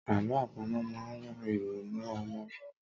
Àló àpamọ̀ máa ń ran ìrònú ọmọ lọ́wọ́.